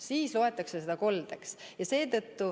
Siis loetakse seda koldeks.